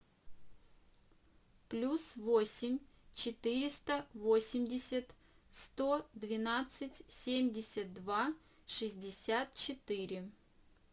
плюс восемь четыреста восемьдесят сто двенадцать семьдесят два шестьдесят четыре